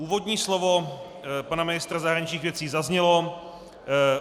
Úvodní slovo pana ministra zahraničních věcí zaznělo.